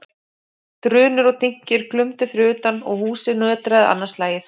Drunur og dynkir glumdu fyrir utan og húsið nötraði annað slagið.